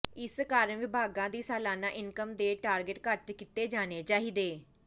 ਇਸ ਕਾਰਨ ਵਿਭਾਗਾਂ ਦੀ ਸਾਲਾਨਾ ਇਨਕਮ ਦੇ ਟਾਰਗੇਟ ਘੱਟ ਕੀਤੇ ਜਾਣੇ ਚਾਹੀਦੇ